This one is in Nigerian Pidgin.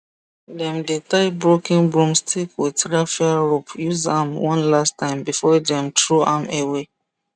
dem dey tie broken broomstick with raffia rope use am one last time before dem throw am away